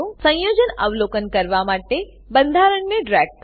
સંયોજન અવલોકન કરવા માટે બંધારણને ડ્રેગ કરો